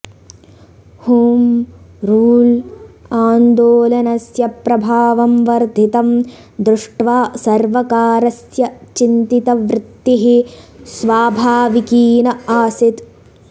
home rule आन्दोलनस्य प्रभावं वर्धितं दृष्ट्वा सर्वकारस्य चिन्तितवृत्तिः स्वाभाविकीन आसीत्